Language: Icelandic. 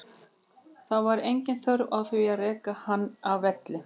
Það var engin þörf á því að reka hann af velli.